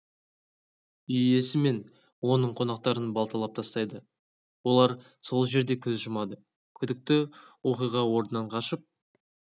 үй иесі мен оның қонақтарын балталап тастайды олар сол жерде көз жұмады күдіктіоқиға орнынан қашып